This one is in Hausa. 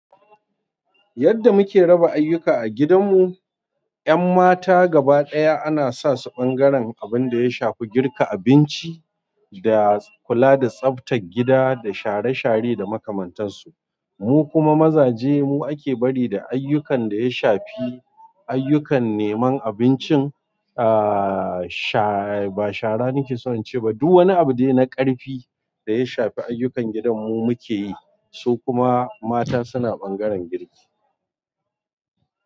Yadda muke raba ayyuka a gidanmu, 'yan mata gabaɗaya ana sa su ɓangaren abin da ya shafi girka abinci da kula da tsaftar gida da share-share da makamantansu. Mu kuma mazaje mu ake bari da ayyukan da ya shafi ayyukan neman abincin, ahhh, sha-- ba shara nake son in ce ba, duk wani abu ne na ƙarfi da ya shafi ayyukan gidan mu muke yi, su kuma mata suna ɓangaren girki.